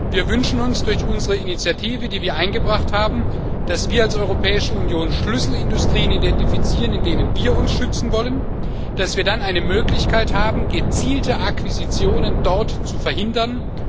Wir wünschen uns durch unsere Initiative, die wir eingebracht haben, dass wir als Europäische Union Schlüsselindustrien identifizieren, in denen wir uns schützen wollen, und dass wir dann eine Möglichkeit haben, gezielte Akquisitionen dort zu verhindern.